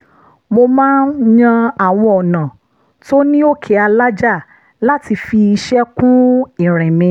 mo máa ń yan àwọn ọ̀nà tó ní òkè alájà láti fi iṣẹ́ kún ìrìn mi